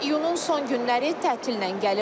İyunun son günləri tətillə gəlir.